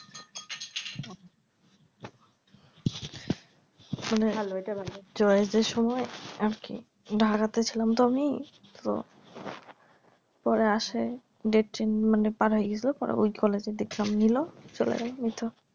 মনে হয় এটা ভালো choice এর সময় আর কি ঢাকাতে ছিলাম তো আমি তো ওরা আসে datwe change মানে পার হয়ে গেসলো পরে ওই college এ দিয়ে exam নিলো চলে গেলো